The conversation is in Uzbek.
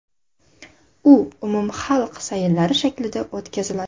U umumxalq sayillari shaklida o‘tkaziladi.